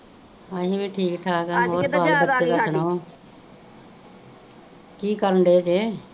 ਹਾਂਜੀ ਮੈ ਠੀਕ ਠਾਕ ਆ ਕਿ ਕਰਨ ਡੇ ਜੇ